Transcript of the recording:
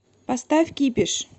поставь кипиш